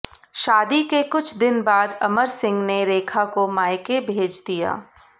शादी के कुछ दिन बाद अमर सिंह ने रेखा को मायके भेज दिया